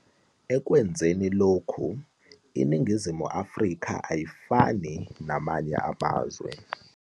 Ekwenzeni lokhu, iNingizimu Afrika ayifani namanye amazwe.